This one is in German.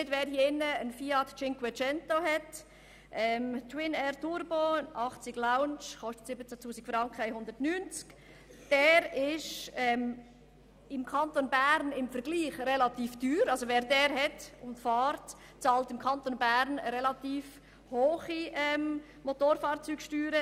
Für einen Fiat 500, 0.9, TwinAir, Turbo, 80 Lounge, Neupreis ab 17 190 Franken, bezahlt man im Kanton Bern relativ hohe Motorfahrzeugsteuern.